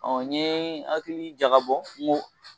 Ɔ n ye hakili jagabɔ n ko